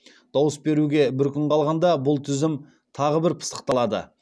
дауыс беруге бір күн қалғанда бұл тізім тағы бір пысықталады